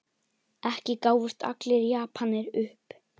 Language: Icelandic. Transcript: Ekki gáfust allir Japanir upp.